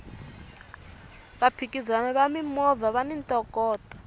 vaphikizani va mimovha vani ntokoto